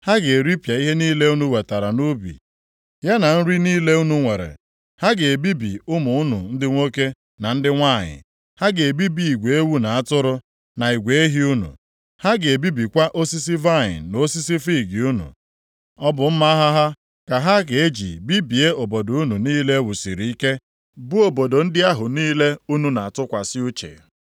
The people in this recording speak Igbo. Ha ga-eripịa ihe niile unu wetara nʼubi, ya na nri niile unu nwere. Ha ga-ebibi ụmụ unu ndị nwoke na ndị nwanyị. Ha ga-ebibi igwe ewu na atụrụ unu, na igwe ehi unu. Ha ga-ebibikwa osisi vaịnị na osisi fiig unu. Ọ bụ mma agha ha ka ha ga-eji bibie obodo unu niile e wusiri ike, bụ obodo ndị ahụ niile unu na-atụkwasị uche.